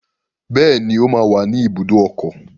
Bẹ́ẹ̀ni, ó máa wà ní ibùdó ọkọ̀.